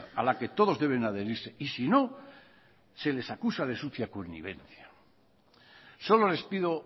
a la que todos deben adherirse y sino se les acusa de sucia connivencia solo les pido